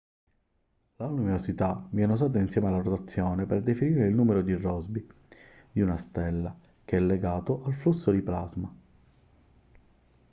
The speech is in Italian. la luminosità viene usata insieme alla rotazione per definire il numero di rossby di una stella che è legato al flusso di plasma